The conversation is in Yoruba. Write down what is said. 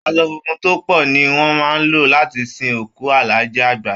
Aṣọ funfun tó pọ ni wọ́n máa lò láti sin òkù Alhaji Àgbà